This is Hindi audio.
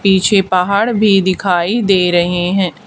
पीछे पहाड़ भी दिखाई दे रहे है।